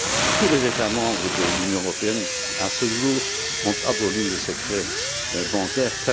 Tous les États membres de l'Union européenne, à ce jour, ont aboli le secret bancaire.